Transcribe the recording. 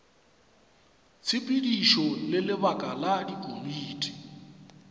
tshepedišo le lebaka la dikomiti